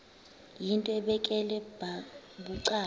yinto ebekela bucala